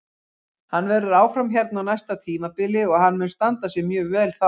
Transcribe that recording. Hann verður áfram hérna á næsta tímabili og hann mun standa sig mjög vel þá.